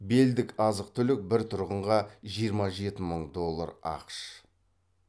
белдік азық түлік бір тұрғынға жиырма жеті мың доллар ақш